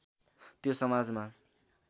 त्यो समाजमा